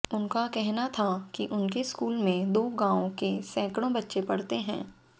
उनका कहना था कि उनके स्कूल में दो गांव के सैंकड़ो बच्चे पढ़ते हैं